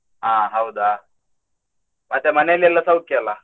ಅಹ್ ಹೌದಾ! ಮತ್ತೆ ಮನೆಯಲ್ಲೆಲ್ಲಾ ಸೌಖ್ಯ ಅಲ್ಲ?